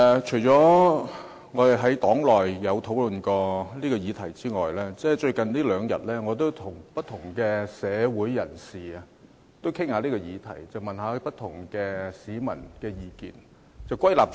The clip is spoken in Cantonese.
除了與黨友討論這項議題外，最近兩天，我也曾與不同社會人士討論這項議題，詢問不同市民的意見。